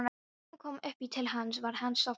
Þegar hún kom upp í til hans var hann sofnaður.